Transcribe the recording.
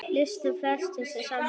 Lýstu flestir sig sammála honum.